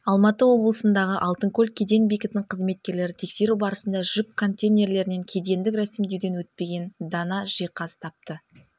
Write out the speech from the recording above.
алматы облысындағы алтынкөл кеден бекетінің қызметкерлері тексеру барысында жүк контейнерлерінен кедендік рәсімдеуден өтпеген дана жиһаз тапты